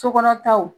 Sokɔnɔ taw